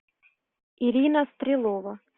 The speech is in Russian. ирина стрелова